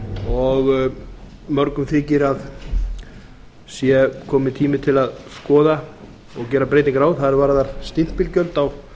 og mörgum þykir að sé kominn tími til að skoða og gera breytingar á það varðar stimpilgjöld sérstaklega